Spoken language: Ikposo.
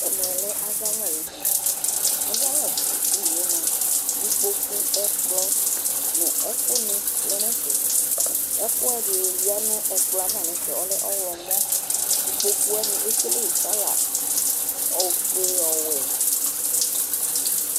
Ɛmɛ lɛ azawla ayʋ edini Azawladini yɛ mʋa, ikpoku, ɛkplɔ nʋ ɛkʋnɩ lɛ nʋ ɛfɛ Ɛkʋɛdɩ yǝ nʋ ɛkplɔ yɛ ava nʋ ɛfɛ ɔlɛ ɔɣlɔmɔ Ikpoku wanɩ ekele kɔla ofue, ɔwɛ